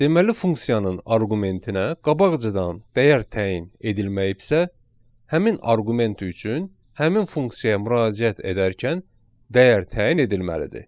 Deməli funksiyanın arqumentinə qabaqcadan dəyər təyin edilməyibsə, həmin arqument üçün həmin funksiyaya müraciət edərkən dəyər təyin edilməlidir.